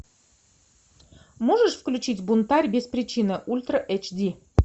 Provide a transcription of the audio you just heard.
можешь включить бунтарь без причины ультра эйч ди